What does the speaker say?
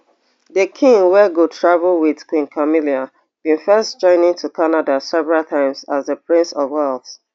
di king wey go travel wit queen camilla bin first journey to canada several times as di prince of wales